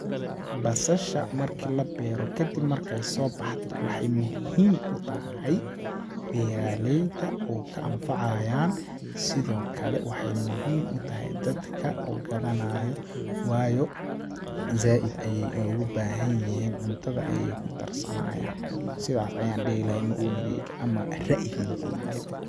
Basasha marki la beero kadib markey soo baxdo waxeey muhiim u tahay beeralayda oo ka anfacayaan sidoo kale waxeey muhiim u tahay dadka oo gadanaayo ,waayo zaaid ayeey ogu baahan yihiin cuntada ayeey kudar sanayaan ,sidaas ayaan dhihi lahaa maoni geyga ama ra'yi geyga .